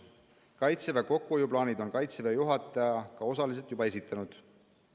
" Kaitseväe kokkuhoiuplaanid on Kaitseväe juhataja ka osaliselt juba esitanud.